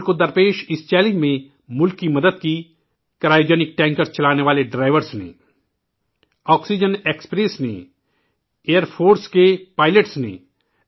ملک کے سامنے آئے ، اِس چیلنج نے ملک کی مدد کرایوجینک ٹینکر چلانے والے ڈرائیوروں نے کی ، آکسیجن ایکسپریس نے کی ، ایئر فورس کے پائلٹس نے کی